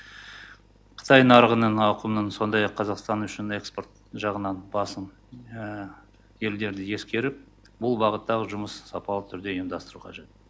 қытай нарығының ауқымын сондай ақ қазақстан үшін экспорт жағынан басым елдерді ескеріп бұл бағыттағы жұмыс сапалы түрде ұйымдастыру қажет